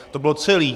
To bylo celé.